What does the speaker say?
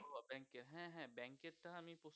হ্যা হ্যা ব্যাংক এর টা আমি